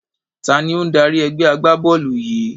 Taàní ó ń dárí ẹgbẹ́ agbá-bọ́ọ́lù yìí?